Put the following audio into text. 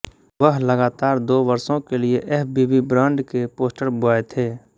वह लगातार दो वर्षों के लिए एफबीबी ब्रांड के पोस्टर बॉय थे